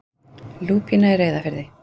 Lúpína í Reyðarfirði.